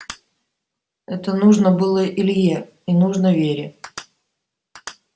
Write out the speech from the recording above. это нужно было илье и нужно вере